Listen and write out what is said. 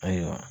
Ayiwa